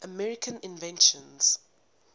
american inventions